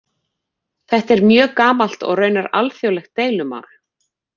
Þetta er mjög gamalt og raunar alþjóðlegt deilumál.